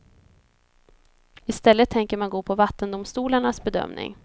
Istället tänker man gå på vattendomstolarnas bedömning.